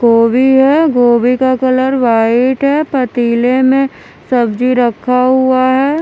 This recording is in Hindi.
गोबी है गोबी का कलर वाइट है पतीले में सब्जी रखा हुआ है।